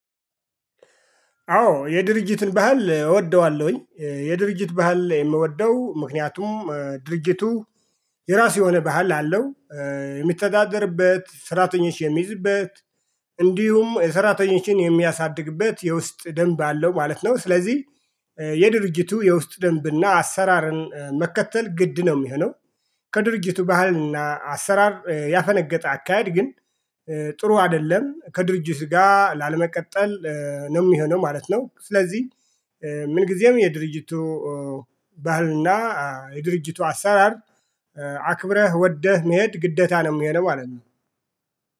አዎ የድርጅትን ባህል እወደዋለሁኝ። የድርጅት ባህል የምወደው ምክንያቱም ድርጅቱ የራሱ የሆነ ባህል አለው የሚተዳደርበት ሰራተኞች የሚይዝበት እንዲሁም ሰራተኞችን የሚያሳድግበት የውስጥ ደንብ አለው ማለት ነው። ስለዚህ የድርጅቱ የውስጥ ደንብና አሰራርን መከተል ግድ ነው የሚሆነው። ከድርጅቱ ባህልና አሰራር ያፈነገጠ አካሄድ ግን ጥሩ አይደለም ከድርጅት ጋር ላለመቀጠል ነው የሚሆነው ማለት ነው። ስለዚህ ምን ጊዜም የድርጅቱ ባህልና የድርጅቱ አሰራር አክብረህ ወደህ መሄድ ግዴታ ነው የሚሆነው ማለት ነው